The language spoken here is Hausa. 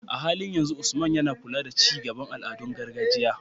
A halin yanzu, Usman yana kula da ci gaban al'adun gargajiya.